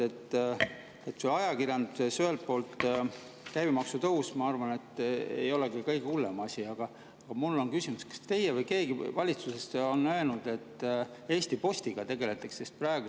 Ühelt poolt see ajakirjanduse käibemaksu tõus, ma arvan, ei olegi kõige hullem asi, aga mul on küsimus: kas olete teie või on keegi valitsusest öelnud, et Eesti Postiga tegeldakse?